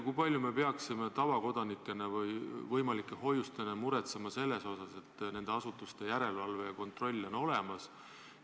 Kui palju me peaksime tavakodanikena või võimalike hoiustajatena muretsema selle pärast, kas nende pakkujate järelevalve ja kontroll on olemas?